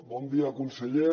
bon dia conseller